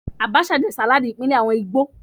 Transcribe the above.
Abacha jẹ́ sàláàdì ìbílẹ̀ àwọn Ìgbò